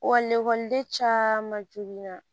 Wa ekɔliden caman jolen na